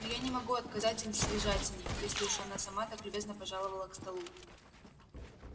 но я не могу отказать им в свежатине если уж она сама так любезно пожаловала к столу